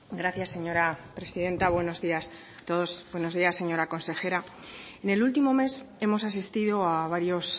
gracias señora presidenta buenos días a todos buenos días señora consejera en el último mes hemos asistido a varios